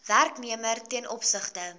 werknemer ten opsigte